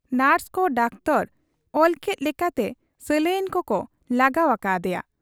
ᱱᱚᱨᱥᱠᱚ doctor ᱚᱞᱠᱮᱫ ᱞᱮᱠᱟᱛᱮ ᱥᱟᱞᱟᱭᱤᱱ ᱠᱚᱠᱚ ᱞᱟᱜᱟᱣ ᱟᱠᱟ ᱟᱫᱮᱭᱟ ᱾